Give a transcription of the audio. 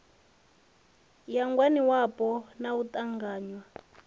ya ngwaniwapo na u ṱanganywa